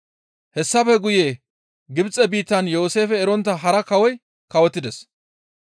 Hessafe guye Gibxe biittan Yooseefe erontta hara kawoy kawotides.